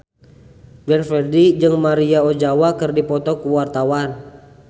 Glenn Fredly jeung Maria Ozawa keur dipoto ku wartawan